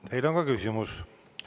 Teile on ka küsimus.